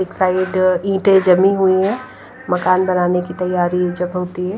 एक साइड ईटें जमी हुई है मकान बनाने की तैयारी जमती है।